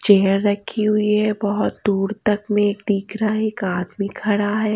Chair रखी हुई है बहुत दूर तक में दिख रहा है एक आदमी खड़ा है।